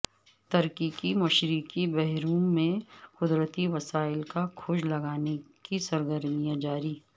ترکی کی مشرقی بحیرہ روم میں قدرتی وسائل کا کھوج لگانے کی سرگرمیاں جاری